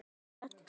Um þetta tré.